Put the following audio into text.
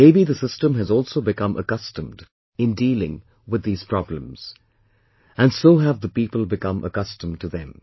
Maybe the system has also become accustomed in dealing with these problems, and so do have the people become accustomed to them